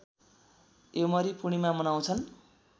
योमरी पूर्णिमा मनाउँछन्